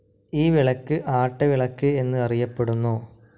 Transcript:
ഈ വിളക്ക് ആട്ടവിളക്ക് എന്ന് അറിയപ്പെടുന്നു.